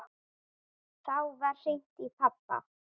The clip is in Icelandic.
Þá var hringt í pabba.